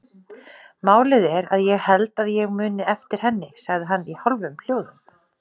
Málið er að ég held ég muni eftir henni, sagði hann í hálfum hljóðum.